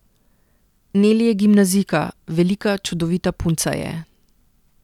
Neli je gimnazijka, velika, čudovita punca je.